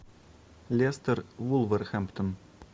лестер вулверхэмптон